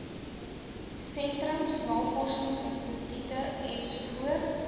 sentrums navorsingsinstitute ens